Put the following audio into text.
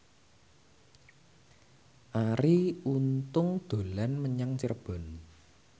Arie Untung dolan menyang Cirebon